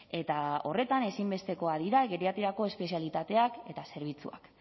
eta horretan ezinbestekoak dira geriatriako espezialitateak eta zerbitzuak